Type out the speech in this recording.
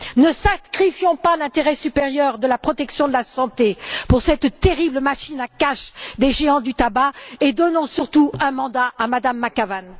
Ne sacrifions pas l'intérêt supérieur de la protection de la santé pour cette terrible machine à cash des géants du tabac et donnons surtout un mandat à Mme McAvan.